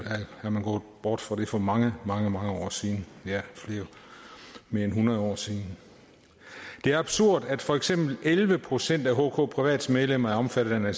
er man gået bort fra det for mange mange mange år siden det er mere end hundrede år siden det er absurd at for eksempel elleve procent af hk privats medlemmer er omfattet af